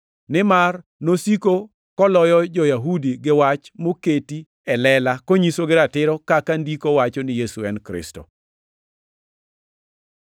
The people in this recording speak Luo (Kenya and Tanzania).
Nimar nosiko koloyo jo-Yahudi gi wach moketi e lela konyisogi ratiro kaka Ndiko wacho ni Yesu e Kristo.